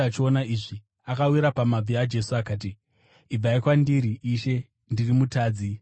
Simoni Petro akati achiona izvi, akawira pamabvi aJesu akati, “Ibvai kwandiri, Ishe; ndiri mutadzi!”